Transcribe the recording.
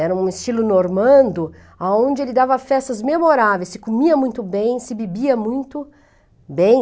Era um estilo normando, a onde ele dava festas memoráveis, se comia muito bem, se bebia muito bem.